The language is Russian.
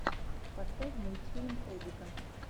поставь мультфильм холдика